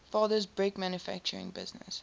father's brick manufacturing business